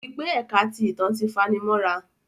O ri pé ẹka ti ìtàn ti fanimọra